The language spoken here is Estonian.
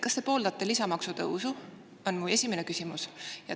Kas te pooldate lisamaksutõusu, on mu esimene küsimus.